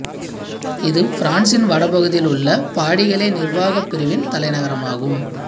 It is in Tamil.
இது பிரான்சின் வடபகுதியில் உள்ள பாடிகலே நிர்வாகப் பிரிவின் தலைநகரமாகும்